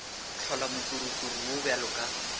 hlola mokurukuru wo bjalo ka